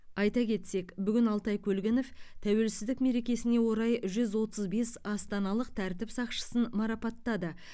айта кетсек бүгін алтай көлгінов тәуелсіздік мерекесіне орай жүз отыз бес астаналық тәртіп сақшысын марапаттады